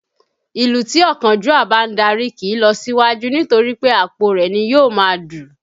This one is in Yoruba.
Ìlú tí ọ̀kánjúà bá ń darí kìí lọ síwájú nítorí pé àpò rẹ̀ ni yóò máa dù